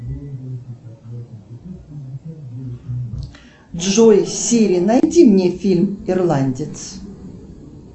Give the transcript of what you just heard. джой сири найди мне фильм ирландец